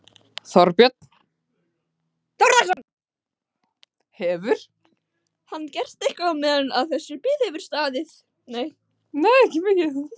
Þorbjörn Þórðarson: Hefur hann gert eitthvað á meðan að þessi bið hefur staðið?